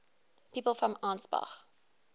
people from ansbach